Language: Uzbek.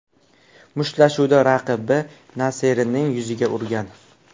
Mushtlashuvda raqibi Naserining yuziga urgan.